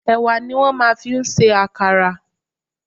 Ẹ̀wà ni wọ́n máa ń fi ń ṣe àkàrà.